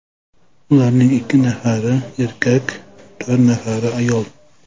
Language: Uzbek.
Ularning ikki nafari erkak, to‘rt nafari ayol.